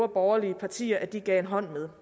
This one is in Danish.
borgerlige partier at de gav en hånd med